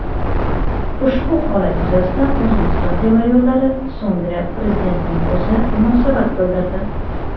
ushbu holat yuzasidan "O‘zbekiston temir yo‘llari" so‘ngra Prezidentning o‘zi munosabat bildirdi.